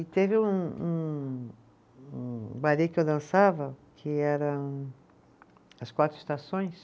E teve um um um, um ballet que eu dançava, que eram as Quatro Estações,